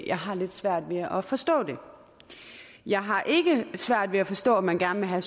jeg har lidt svært ved at at forstå det jeg har ikke svært ved at forstå at man gerne vil have